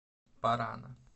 парана